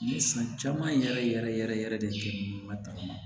Ni san caman yɛrɛ yɛrɛ yɛrɛ yɛrɛ de kɛ ɲuman tagama